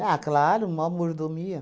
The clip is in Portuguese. Ah, claro, mó mordomia.